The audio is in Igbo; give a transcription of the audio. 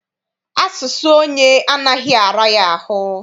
Asụsụ onye anaghị ara ya ahụ